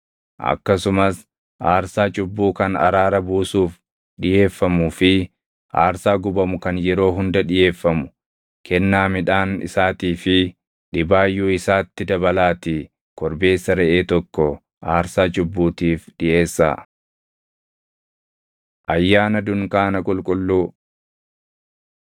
Akkasumas aarsaa cubbuu kan araaraa buusuuf dhiʼeeffamuu fi aarsaa gubamu kan yeroo hunda dhiʼeeffamu, kennaa midhaan isaatii fi dhibaayyuu isaatti dabalaatii korbeessa reʼee tokko aarsaa cubbuutiif dhiʼeessaa. Ayyaana Dunkaana Qulqulluu 29:12‑39 kwf – Lew 23:33‑43; KeD 16:13‑17